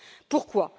Pourquoi?